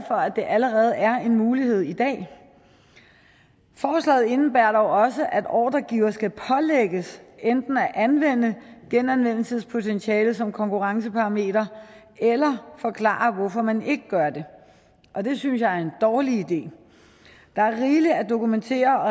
for at det allerede er en mulighed i dag forslaget indebærer dog også at ordregiver skal pålægges enten at anvende genanvendelsespotentiale som konkurrenceparameter eller forklare hvorfor man ikke gør det og det synes jeg er en dårlig idé der er rigeligt at dokumentere